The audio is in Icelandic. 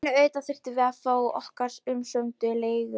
En auðvitað þurftum við að fá okkar umsömdu leigu.